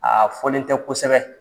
Aa fɔlen tɛ kosɛbɛ.